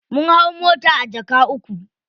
Mun hau mota a jaka uku.